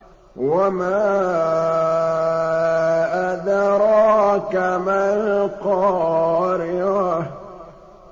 وَمَا أَدْرَاكَ مَا الْقَارِعَةُ